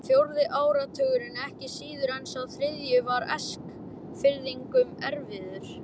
Fjórði áratugurinn, ekki síður en sá þriðji, var Eskfirðingum erfiður.